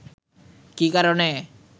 কি কারণে